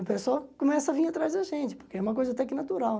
O pessoal começa a vir atrás da gente, porque é uma coisa até que natural.